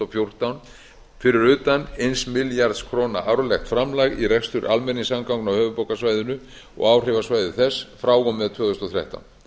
fjórtán fyrir utan eins milljarðs króna árlegt framlag í rekstur almenningssamgangna á höfuðborgarsvæðinu og áhrifasvæði þess frá og með tvö þúsund og þrettán